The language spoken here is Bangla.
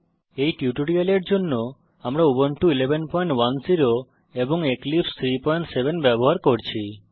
এই টিউটোরিয়ালের জন্য আমরা উবুন্টু 1110 এবং এক্লিপসে 37 ব্যবহার করছি